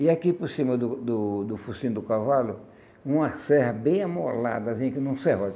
E aqui por cima do do do focinho do cavalo, uma serra bem amolada, assim, que nem um serrote.